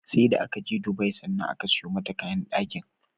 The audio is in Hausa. seda akaje Dubai sannan aka sayo mata kayan dakin